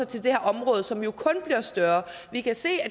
til det her område som jo kun bliver større vi kan se at